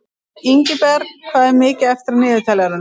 Ingiberg, hvað er mikið eftir af niðurteljaranum?